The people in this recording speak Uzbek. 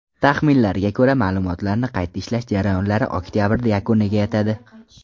Taxminlarga ko‘ra, ma’lumotlarni qayta ishlash jarayonlari oktabrda yakuniga yetadi.